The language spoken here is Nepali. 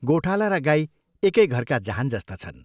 गोठाला र गाई एकै घरका जहान जस्ता छन्।